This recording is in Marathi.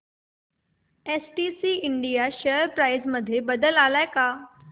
एसटीसी इंडिया शेअर प्राइस मध्ये बदल आलाय का